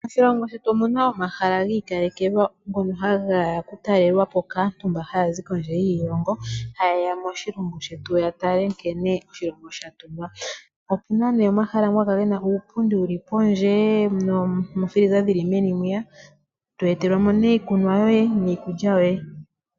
Moshilongo shetu omu naomahala gi ikalekelwa ngono hage ya kutalelwa po kaantu mba haya zi kondje yiilongo, haye ya moshilongo shetu ya tale nkene oshilongo sha tungwa. Opu na omahala gamwe haga kala ge na uupundi wu li pondje noofiliza dhi li meni mwiya, to etelwa mo iikunwa yoye niikulya yoye.